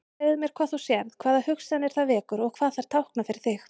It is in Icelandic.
Segðu mér hvað þú sérð, hvaða hugsanir það vekur og hvað þær tákna fyrir þig.